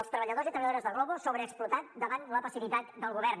els treballadors i treballadores de glovo sobreexplotats davant la passivitat del govern